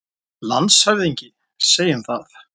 LANDSHÖFÐINGI: Segjum það.